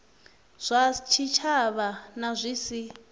zwa tshitshavha na zwi si